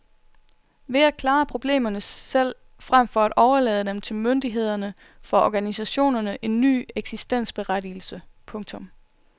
Ved at klare problemerne selv frem for at overlade det til myndighederne får organisationerne en ny eksistensberettigelse. punktum